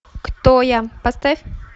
кто я поставь